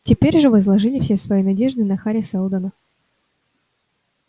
теперь же возложили все свои надежды на хари сэлдона